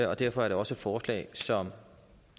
og derfor er det også et forslag som